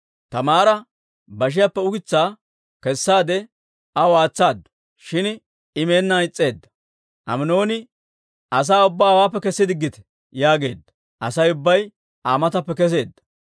Taamaara bashiyaappe ukitsaa kessaade aw aatsaadu; shin I meennaan is's'eedda. Aminooni, «Asaa ubbaa hawaappe kessi diggite» yaageedda; Asay ubbay Aa matappe kesseedda.